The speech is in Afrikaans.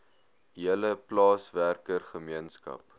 hele plaaswerker gemeenskap